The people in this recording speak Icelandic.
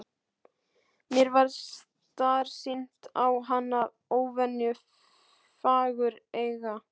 Mér varð starsýnt á hana, óvenju fagureyga.